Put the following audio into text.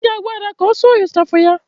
Ị ga-agwa Ada ka ọ sụọ ịchafụ ya